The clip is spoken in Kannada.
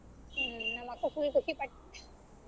ಹ್ಮ್ ನಮ್ಮ ಅಕ್ಕ full ಖುಷಿ ಪಟ್ಟ .